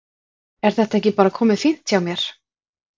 Er þetta ekki bara komið fínt hjá mér?